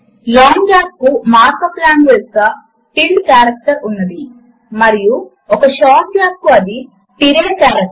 ఏ category ని ఎంచుకుంటే ఆ కేటగరీ లో అందుబాటులో ఉన్న సింబాల్స్ డిస్ప్లే చేయబడతాయి